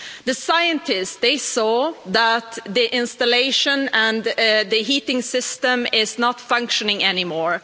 The scientists saw that the installation and the heating system is not functioning anymore.